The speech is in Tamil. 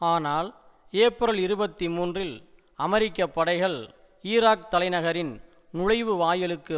ஆனால் ஏப்ரல் இருபத்தி மூன்றில் அமெரிக்க படைகள் ஈராக் தலைநகரின் நுழைவு வாயிலுக்கு